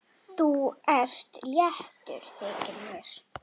Þú ert léttur, þykir mér!